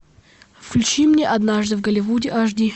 включи мне однажды в голливуде аш ди